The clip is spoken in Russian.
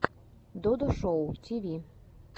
додо шоу тиви